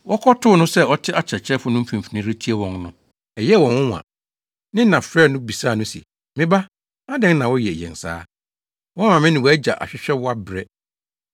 Wɔkɔtoo no sɛ ɔte akyerɛkyerɛfo no mfimfini retie wɔn no, ɛyɛɛ wɔn nwonwa. Ne na frɛɛ no bisaa no se, “Me ba, adɛn na woyɛ yɛn saa? Woama me ne wʼagya ahwehwɛ wo abrɛ.”